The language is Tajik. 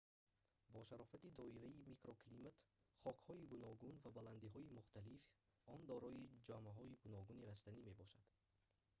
бо шарофати доираи микроклимат хокҳои гуногун ва баландиҳои мухталиф он дорои ҷамоаҳои гуногуни растанӣ мебошад